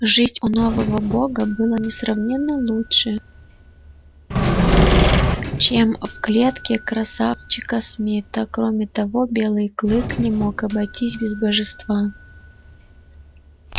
жить у нового бога было несравненно лучше чем в клетке красавчика смита кроме того белый клык не мог обойтись без божества